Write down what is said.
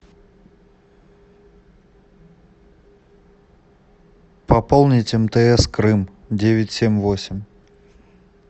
пополнить мтс крым девять семь восемь